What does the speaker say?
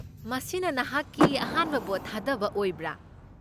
ꯃꯁꯤꯅ ꯅꯍꯥꯛꯀꯤ ꯑꯍꯥꯟꯕ ꯚꯣꯠ ꯊꯥꯗꯕ ꯑꯣꯏꯕ꯭ꯔꯥ?